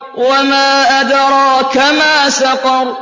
وَمَا أَدْرَاكَ مَا سَقَرُ